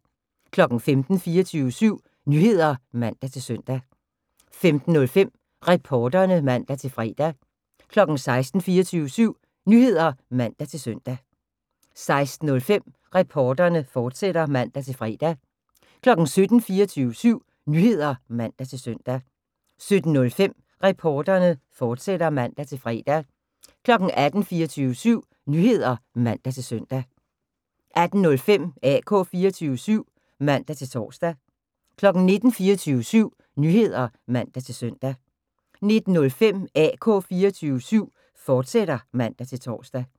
15:00: 24syv Nyheder (man-søn) 15:05: Reporterne (man-fre) 16:00: 24syv Nyheder (man-søn) 16:05: Reporterne, fortsat (man-fre) 17:00: 24syv Nyheder (man-søn) 17:05: Reporterne, fortsat (man-fre) 18:00: 24syv Nyheder (man-søn) 18:05: AK 24syv (man-tor) 19:00: 24syv Nyheder (man-søn) 19:05: AK 24syv, fortsat (man-tor)